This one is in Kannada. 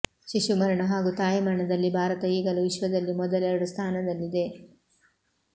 ಶಿಶು ಮರಣ ಹಾಗೂ ತಾಯಿ ಮರಣದಲ್ಲಿ ಭಾರತ ಈಗಲೂ ವಿಶ್ವದಲ್ಲಿ ಮೊದಲೆರಡು ಸ್ಥಾನದಲ್ಲಿದೆ